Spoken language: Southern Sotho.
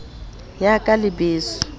yaka le beso ba a